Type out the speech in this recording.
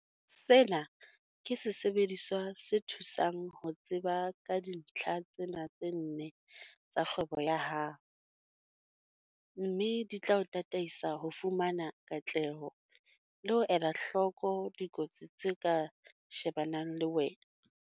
Sena ke sesebediswa se thusang ho tseba ka dintlha tsena tse nne tsa kgwebo ya hao, mme di tla o tataisa ho fumana katleho le ho ela hloko dikotsi tse ka shebanang le wena.